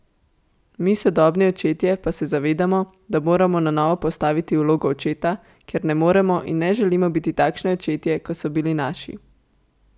Mi sodobni očetje pa se zavedamo, da moramo na novo postaviti vlogo očeta, ker ne moremo in ne želimo biti takšni očetje, kot so bili naši.